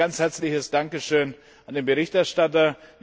Deswegen ein ganz herzliches Dankeschön an den Berichterstatter!